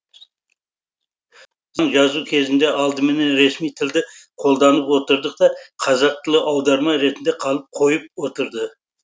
жазу кезінде алдымен ресми тілді қолданып отырдық та қазақ тілі аударма ретінде қалып қойып отырды